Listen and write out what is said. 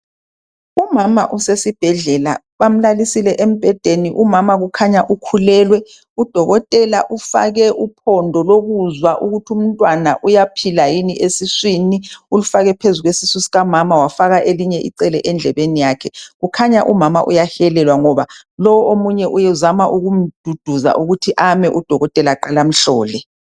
Umama usesibhedlela bamlalisile embhedeni. Umama kukhanya ukhulelwe, udokotela ufake uphondo lokuzwa ukuthumntwana uyaphila yini esiswini ulufake phezu kwesisu sikamama wafaka elinye icele endlebeni yakhe. Kukhanya umama uyahelelwa ngoba lo omunye uzama ukumduduza ukuthi ame udokotela aqalamhlole.